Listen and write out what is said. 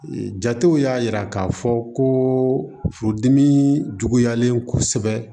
Jatew y'a yira k'a fɔ ko furudimi juguyalen kosɛbɛ